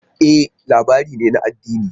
E! labari ne na addini.